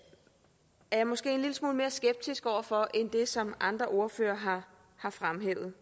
jeg måske en lille smule mere skeptisk over for end det som andre ordførere har fremhævet